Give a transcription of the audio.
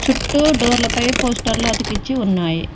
డోర్ల పై పోస్టర్లు అతికించి ఉన్నాయి.